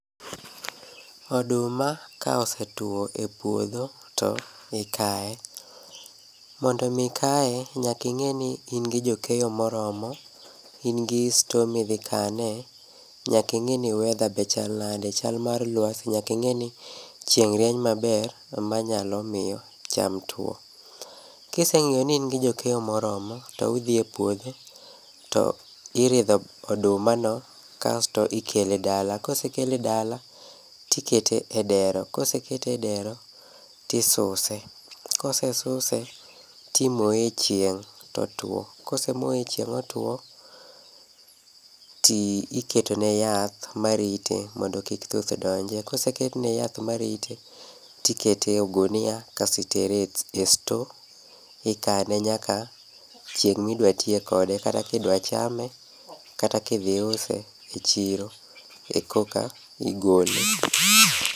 Oduma ka osetwo e puodho to okaye. Mondo omi kaye, nyaka ing'e ni in gi jokeyo moromo, in gi store midhi kanee. Nyaka ing'i ni weather be chal nade, chal mar lwasi, nyaka ing'i ni chieng' rieny maber manyalo miyo cham tuwo. Kiseng'iyo ni in gi jokeyo moromo to udhi e puodho, to iridho oduma no to ikele dala. Kosekele dala to ikete e dero, kosekete e dero ,tisuse. Kosesuse, timoye e chieng' totuwo. Kosemoye e chieng' e otuwo, tiketo ne yath marite mondo kik thuth donjie. Koseketne yath marite, tikete e ogunia kasto itere e store ikane nyaka chieng' midwa tiye kode kata kidwachame kata ka idhi use e chiro, koka igole.